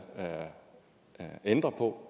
ændre på